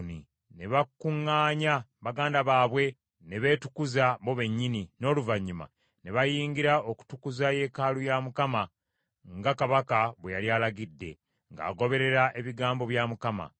Ne bakuŋŋaanya baganda baabwe, ne beetukuza bo bennyini, n’oluvannyuma ne bayingira okutukuza yeekaalu ya Mukama nga kabaka bwe yali alagidde, ng’agoberera ebigambo bya Mukama .